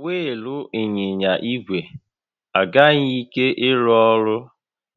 Wịịlụ ịnyịnya ígwè agaghị ike ịrụ ọrụ